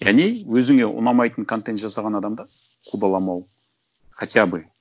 өзіңе ұнамайтын контент жасаған адамды қудаламау хотя бы